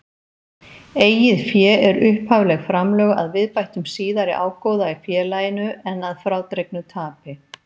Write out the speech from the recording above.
Eigið fé er upphafleg framlög að viðbættum síðari ágóða í félaginu en að frádregnu tapi.